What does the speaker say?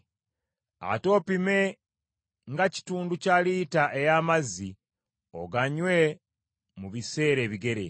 Ate opime nga kitundu kya lita ey’amazzi, oganywe mu biseera ebigere.